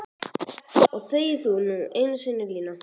Og þegi þú nú einu sinni Lína!